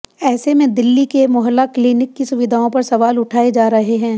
ऐसे में दिल्ली के मोहल्ला क्लिनिक की सुविधाओं पर सवाल उठाए जा रहे हैं